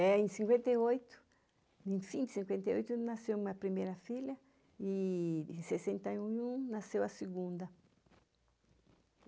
É, em cinquenta e oito, enfim, em cinquenta e oito nasceu a minha primeira filha e em sessenta e um, nasceu a segunda.